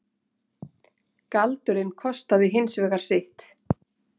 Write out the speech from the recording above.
Galdurinn kostaði hins vegar sitt.